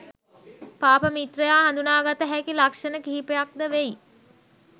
පාප මිත්‍රයා හඳුනාගත හැකි ලක්ෂණ කිහිපයක්ද වෙයි.